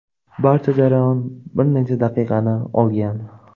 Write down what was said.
Barcha jarayon bir necha daqiqani olgan.